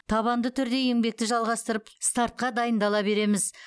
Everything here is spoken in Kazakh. табанды түрде еңбекті жалғастырып стартқа дайындала береміз